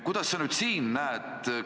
Kuidas sa nüüd siin näed?